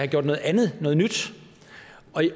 gjort noget andet noget nyt